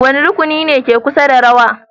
Wane rukuni ne ke kusa da rawa?